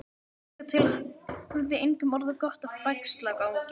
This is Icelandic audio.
Hingað til hafði engum orðið gott af bægslagangi.